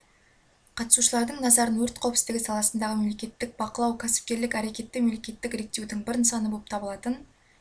қатысушылардың назарын өрт қауіпсіздігі саласындағы мемлекеттік бақылау кәсіпкерлік әрекетті мемлекеттік реттеудің бір нысаны болып табылатынын